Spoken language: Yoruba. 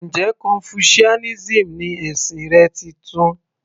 Njẹ́ confucianism ni ẹ̀sìn rẹ titun?